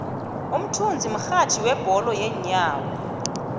umthunzi mrhatjhi webholo yeenyawo